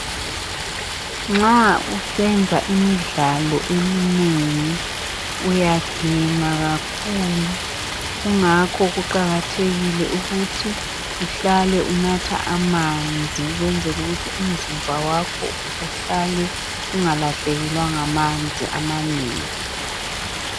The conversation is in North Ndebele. nxa usenza imidlalo eminengi uyaginqa kakhulu kungakho kuqakathekile ukuthi uhlale unatha amanzi ukwenzela ukuthi umzimba wakho uhlale ungalahlekelwa ngamanzi amanengi